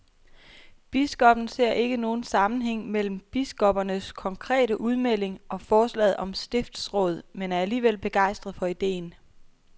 Biskoppen ser ikke nogen sammenhæng mellem biskoppernes konkrete udmelding og forslaget om stiftsråd, men er alligevel begejstret for ideen.